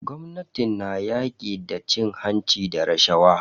Gwamnatin na yaƙi da cin hanci da rashawa.